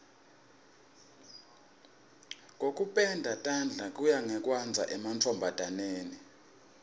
kokupenda tandla kuya ngekwandza emantfombataneni